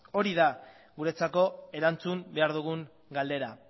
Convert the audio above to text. hori da guretzako erantzun behar dugun galdera